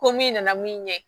Ko min nana min ɲɛ